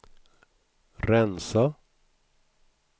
rensa